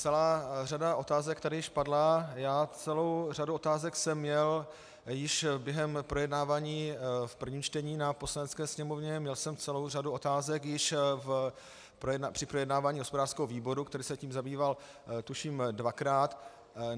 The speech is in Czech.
Celá řada otázek tady již padla, celou řadu otázek jsem měl již během projednávání v prvním čtení na Poslanecké sněmovně, měl jsem celou řadu otázek již při projednávání hospodářského výboru, který se tím zabýval, tuším, dvakrát.